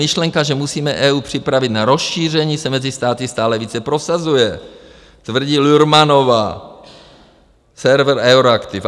Myšlenka, že musíme EU připravit na rozšíření, se mezi státy stále více prosazuje, tvrdí Lührmannová, server Euroactiv.